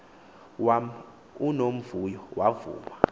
wam unomvuyo wavuma